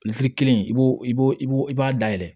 kelen i b'o i b'o i b'o i b'a dayɛlɛ